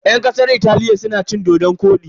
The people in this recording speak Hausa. Yan kasar Italiya suna cin dodon-kwodi.